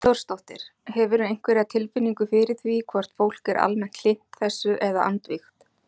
Hrund Þórsdóttir: Hefurðu einhverja tilfinningu fyrir því hvort fólk er almennt hlynnt þessu eða andvígt?